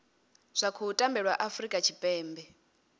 zwa khou tambelwa afurika tshipembe